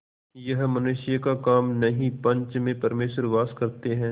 यह मनुष्य का काम नहीं पंच में परमेश्वर वास करते हैं